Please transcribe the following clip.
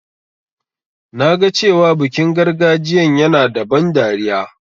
Na ga cewa bikin gargajiyan yana da ban dariya.